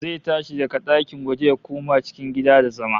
Zai tashi daga ɗakin waje ya koma cikin gida da zama